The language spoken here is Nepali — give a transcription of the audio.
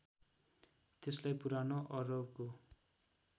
त्यसलाई पुरानो अरबको